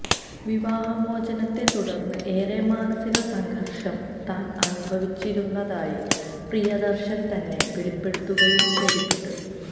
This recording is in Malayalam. വിവാഹമോചനത്തെ തുടര്ന്ന് ഏറെ മാനസിക സംഘര്ഷം താന് അനുഭവിച്ചിരുന്നതായി പ്രിയദര്ശന് തന്നെ വെളിപ്പെടുത്തുകയും ചെയ്തിട്ടുണ്ട്